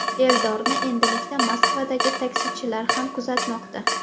Eldorni endilikda Moskvadagi taksichilar ham kuzatmoqda.